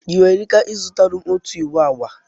Ị nwere ika i zutara ọtụ iwụ agba?